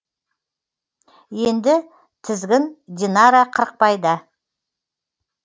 енді тізгін динара қырықбайда